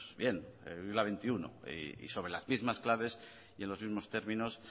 bien es la veintiuno y sobre las mismas claves y en los mismos términos